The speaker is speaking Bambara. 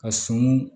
Ka sun